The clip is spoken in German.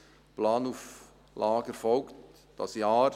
Die Planauflage erfolgt dieses Jahr.